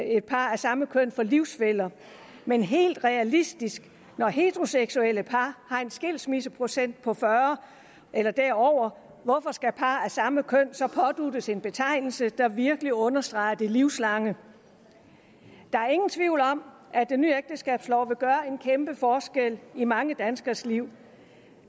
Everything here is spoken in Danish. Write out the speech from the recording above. et par af samme køn for livsfæller men helt realistisk når heteroseksuelle par har en skilsmisseprocent på fyrre eller derover hvorfor skal par af samme køn så påduttes en betegnelse der virkelig understreger det livslange der er ingen tvivl om at den nye ægteskabslov vil gøre en kæmpe forskel i mange danskeres liv